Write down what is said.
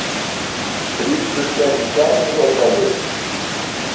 Brýtur gegn gjaldþrotalögum